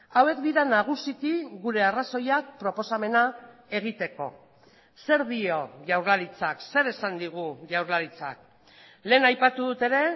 hauek dira nagusiki gure arrazoiak proposamena egiteko zer dio jaurlaritzak zer esan digu jaurlaritzak lehen aipatu dut ere